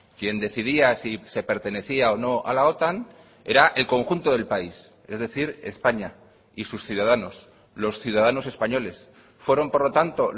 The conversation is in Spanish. quien decidía si se pertenecía o no a la otan era el conjunto del país es decir españa y sus ciudadanos los ciudadanos españoles fueron por lo tanto